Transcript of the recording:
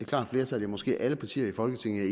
klart flertal i måske alle partier i folketinget